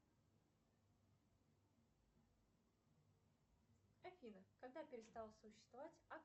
афина когда перестала существовать